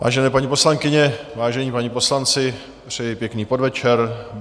Vážené paní poslankyně, vážení páni poslanci, přeji pěkný podvečer.